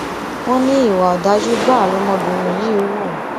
wọn ní ìwà ọdájú gbáà lọmọbìnrin yìí hù